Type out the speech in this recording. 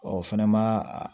Ɔ fɛnɛ ma a